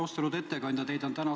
Austatud ettekandja!